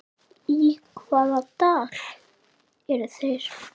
Í hvaða dal eru þeir?